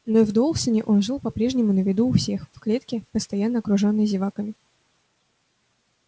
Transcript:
но и в доусоне он жил по прежнему на виду у всех в клетке постоянно окружённый зеваками